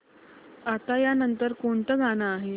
आता या नंतर कोणतं गाणं आहे